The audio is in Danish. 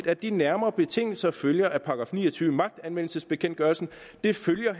at de nærmere betingelser følger af § ni og tyve i magtanvendelsesbekendtgørelsen det følger